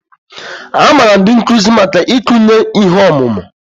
A maara ndị nkuzi maka ikunye ihe ọmụma